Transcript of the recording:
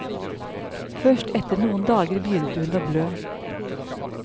Først etter noen dager begynte hun å blø.